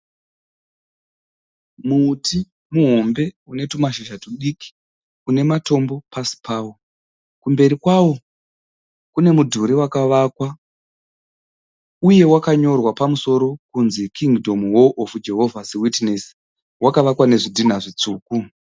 Muti muhombe une tumashizha tudiki une matombo pasi pawo. Kumberi kwawo kune mudhuri wakavakwa uye wakanyorwa pamusoro kunzi Kingdom Hall of Jehovahs Witnesses. Wakavakwa nezvidhinha zvitsvuku.